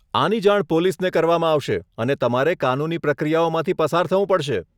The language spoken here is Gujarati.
આની જાણ પોલીસને કરવામાં આવશે, અને તમારે કાનૂની પ્રક્રિયાઓમાંથી પસાર થવું પડશે.